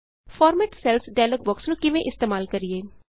format cells dialog box ਨੂੰ ਕਿਵੇਂ ਇਸਤੇਮਾਲ ਕਰੀਏ